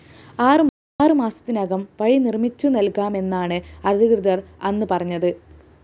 ആറ് മാസത്തിനകം വഴി നിര്‍മ്മിച്ചുനല്‍കാമെന്നാണ് അധികൃതര്‍ അന്ന് പറഞ്ഞത്